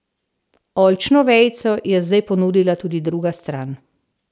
Oljčno vejico je zdaj ponudila tudi druga stran.